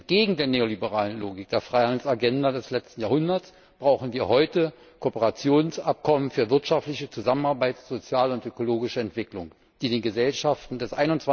Entgegen der neoliberalen Logik der Freihandels Agenda des letzten Jahrhunderts brauchen wir heute Kooperationsabkommen für wirtschaftliche Zusammenarbeit, soziale und ökologische Entwicklung, die den Gesellschaften des